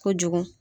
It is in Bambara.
Kojugu